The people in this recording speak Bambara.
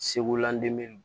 Segu landu